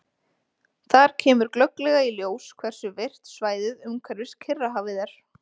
Þar kemur glögglega í ljós hversu virkt svæðið umhverfis Kyrrahafið er.